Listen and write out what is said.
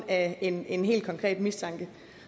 af en en helt konkret mistanke